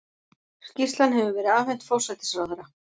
Skýrslan hefur verið afhent forsætisráðherra